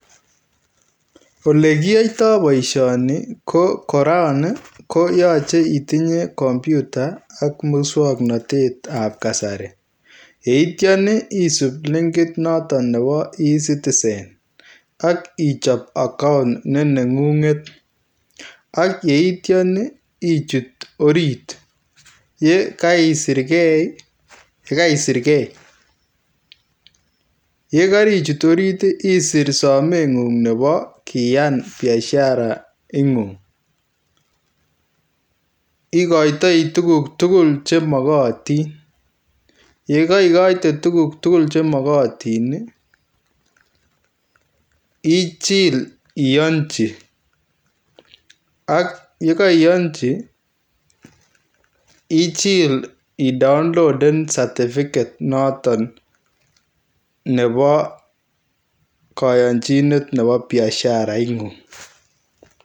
Ole kiyaitaa boisioni ko korong ii ko yachei itinyei [computer] ak musangnatet ab kasari yeityaan ii isuup linkiit notoon nebo [e citizen] akichaap account ne nengunget ak yeityaan ii ichuut oriit ye kaisiirgei ye kaichuut oriit ii isiir sameenguung nebo kiyaan biashara nguung igoitoi tuguuk tugul che magatiin ye kaigate tuguuk tugul che magatiin ii ichiil iyanjii ak ye kaiyanji ichiil ii downloadeen [certificate notoon] nebo kayanjinet nebo biashara nengung.